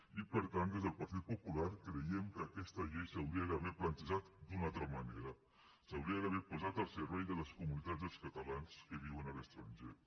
i per tant des del partit popular creiem que aquesta llei s’hauria d’haver plantejat d’una altra manera s’hauria d’haver posat al servei de les comunitats dels catalans que viuen a l’estranger